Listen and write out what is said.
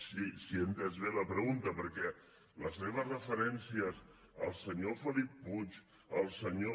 si he entès bé la pregunta perquè les seves referències al senyor felip puig al senyor